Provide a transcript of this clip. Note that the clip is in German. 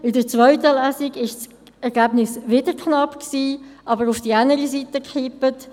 In der zweiten Lesung war das Ergebnis wieder knapp, aber es ist auf die andere Seite gekippt: